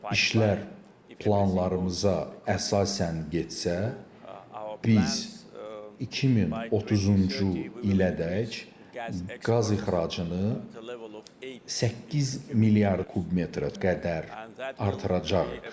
İşlər planlarımıza əsasən getsə, biz 2030-cu ilədək qaz ixracını 8 milyard kub metrədək artıracağıq.